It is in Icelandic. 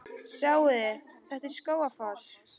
Sjáiði! Þetta er Skógafoss.